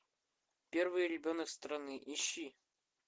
первый ребенок страны ищи